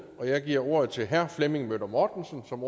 og jeg giver ordet til herre flemming møller mortensen som